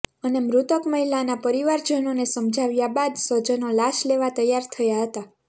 અને મૃતક મહિલાના પરિવારજનોને સમજાવ્યા બાદ સ્વજનો લાશ લેવા તૈયાર થયા હતા